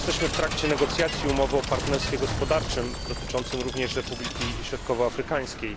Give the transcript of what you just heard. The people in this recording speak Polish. Jesteśmy w trakcie negocjacji umowy o partnerstwie gospodarczym, dotyczącej również Republiki Środkowoafrykańskiej.